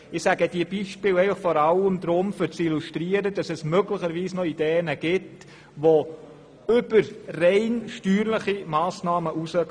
Ich nenne das Beispiel nur, um zu illustrieren, dass es möglicherweise noch Ideen gäbe, die über steuerliche Massnahmen hinausgehen.